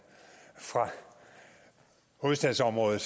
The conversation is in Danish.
fra hovedstadsområdet